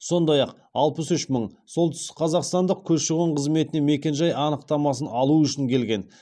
сондай ақ алпыс үш мың солтүстікқазақстандық көші қон қызметіне мекен жай анықтамасын алу үшін келген